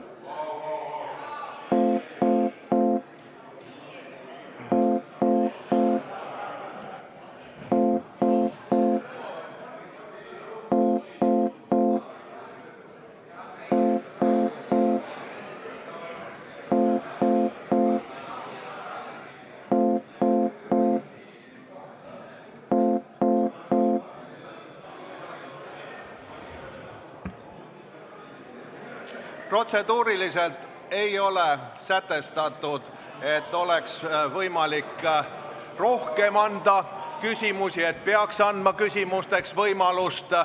Protseduuriliselt ei ole sätestatud, et ma peaksin andma võimaluse rohkemateks küsimusteks.